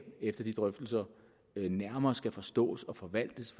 efter de drøftelser nærmere skal forstås og forvaltes